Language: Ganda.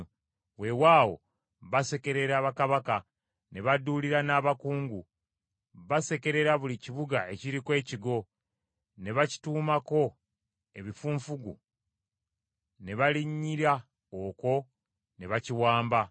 Weewaawo, basekerera bakabaka ne baduulira n’abakungu. Basekerera buli kibuga ekiriko ekigo ne bakituumako ebifunfugu ne balinnyira okwo, ne bakiwamba.